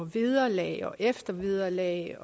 vederlag og eftervederlag